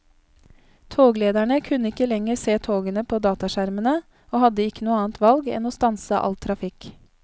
Toglederne kunne ikke lenger se togene på dataskjermene og hadde ikke annet valg enn å stanse all trafikk.